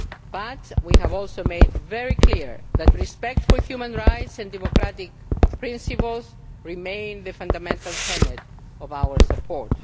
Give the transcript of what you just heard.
But we have also made it very clear that respect for human rights and democratic principles remain the fundamental tenet of our support.